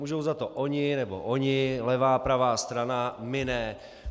Můžou za to oni nebo oni, levá, pravá strana, my ne.